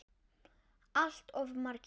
Allt of margir.